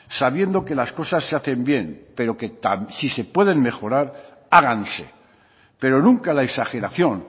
sabiendo que las cosas se hacen bien pero si se pueden mejorar háganse pero nunca la exageración